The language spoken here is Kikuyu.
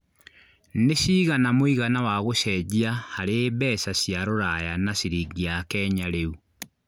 nĩ cĩgana mũigana wa gũcejia harĩ mbeca cĩa rũraya na ciringi ya Kenya rĩu